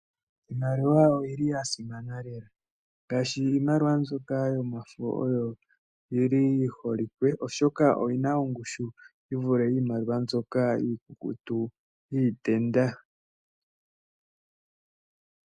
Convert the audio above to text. Iimaliwa oyili ya simana lela ngaashi iimaliwa mbyoka yomafo oyo yili yi holike oshoka oyina ongushu yi vule iimaliwa mbyoka iikukutu yiitenda.